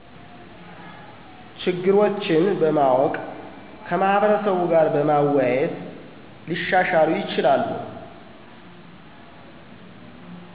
ችግሮች በማወቅ ከማህበረሰቡ ጋር በመወያየት ሊሻሻሉ ይችላሉ።